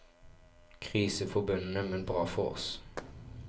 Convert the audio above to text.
Krise for bøndene, men bra for oss.